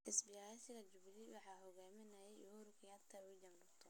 Isbaheysiga Jubilee waxaa hogaaminayay Uhuru Kenyatta iyo William Ruto.